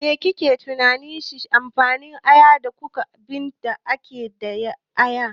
Me kike tunani shine amfanin aya da duka abinda ake da aya?